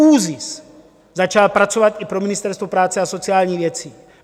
ÚZIS začal pracovat i pro Ministerstvo práce a sociálních věcí.